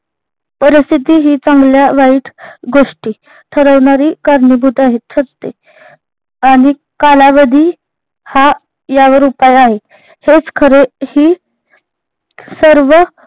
परिस्थिति ही चांगल्या वाईट गोष्टी ठरवणारी कारणीभूत आहेत ठरते आणि कालावधी हा यावर उपाय आहे हेच खरे ही सर्व